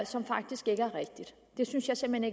som faktisk ikke er rigtigt det synes jeg simpelt